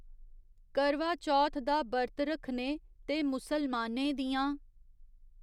करवाचौथ दा बर्त रक्खने ते मुसलमानें दियां .